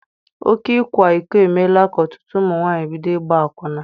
Oké ịkwa iko emeela ka ọtụtụ ụmụ nwaanyị bido ịgba akwụna.